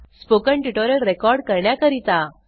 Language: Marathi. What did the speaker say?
स्पोकन ट्युटोरियल रेकॉर्ड करण्याकरीता